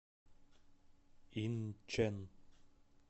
инчэн